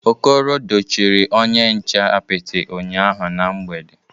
Okoro dochiri onye nche apịtị ụnyahụ na mgbede